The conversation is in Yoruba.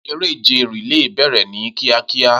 Eré ìje relay bẹ̀rẹ̀ ní kíákíá.